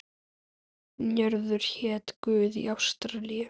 Njörður hét guð í ásatrú.